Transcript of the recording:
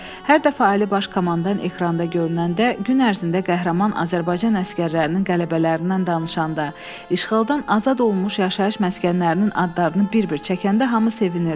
Hər dəfə Ali Baş Komandan ekranda görünəndə, gün ərzində qəhrəman Azərbaycan əsgərlərinin qələbələrindən danışanda, işğaldan azad olunmuş yaşayış məskənlərinin adlarını bir-bir çəkəndə hamı sevinirdi.